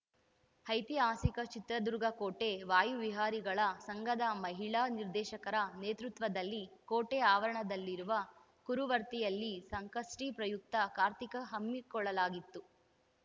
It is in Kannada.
ಐತಿಹಾಸಿಕ ಚಿತ್ರದುರ್ಗ ಕೋಟೆ ವಾಯುವಿಹಾರಿಗಳ ಸಂಘದ ಮಹಿಳಾ ನಿರ್ದೇಶಕರ ನೇತೃತ್ವದಲ್ಲಿ ಕೋಟೆ ಆವರಣದಲ್ಲಿರುವ ಕರುವರ್ತಿಯಲ್ಲಿ ಸಂಕಷ್ಟಿಪ್ರಯುಕ್ತ ಕಾರ್ತಿಕ ಹಮ್ಮಿಕೊಳ್ಳಲಾಗಿತ್ತು